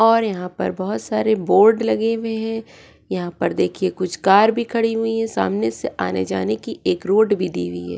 और यहां पर बहुत सारे बोर्ड लगे हुए हैं यहां पर देखिए कुछ कार भी खड़ी हुई है सामने से आने जाने की एक रोड भी दी हुई है।